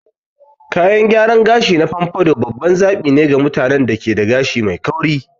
Kayan gyaran gashi na pompadour babban zaɓi ne ga mutanen da ke da gashi mai kauri.